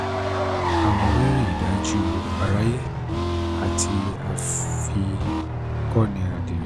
àmọ̀ rírí ìdájù àráyé àti àfikọ̀nì àdírẹ̀